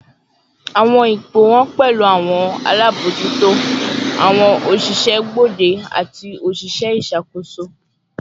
Awọn ipo wọn pẹlu awọn alabojuto, awọn oṣiṣẹ gbode, ati oṣiṣẹ iṣakoso